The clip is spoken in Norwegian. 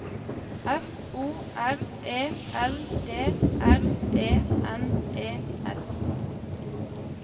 F O R E L D R E N E S